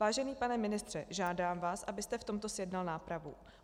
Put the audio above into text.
Vážený pane ministře, žádám vás, abyste v tomto zjednal nápravu.